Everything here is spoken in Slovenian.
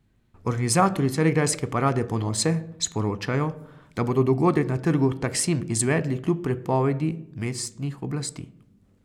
Organizatorji carigrajske parade ponose sporočajo, da bodo dogodek na trgu Taksim izvedli kljub prepovedi mestnih oblasti.